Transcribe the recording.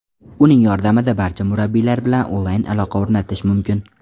Uning yordamida barcha murabbiylar bilan onlayn aloqa o‘rnatish mumkin.